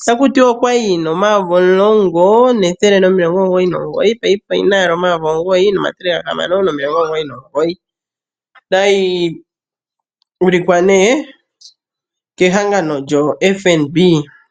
Otaku tiwa okwali yi na N$10199 paife oyi na N$9699. Otayi ulikwa nee kehangano lyoFNB.